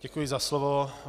Děkuji za slovo.